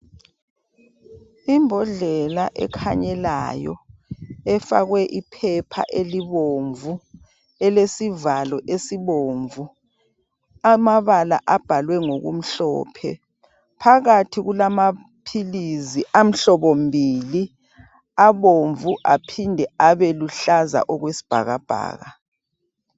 Imbodlela ekhanyelayo efakwe iphepha elibomvu ,elesivalo esibomvu, amabala abhalwe ngokumhlophe phakathi kulamaphilizi amhlobo mbili abomvu aphinde luhlaza okwesibhakabhaka